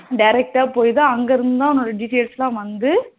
direct டா போய்தா அங்க இருந்துதா உன்னோட details எல்லாம் வந்து